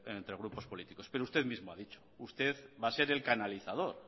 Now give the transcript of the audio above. entre grupos políticos pero usted mismo ha dicho usted va a ser el canalizador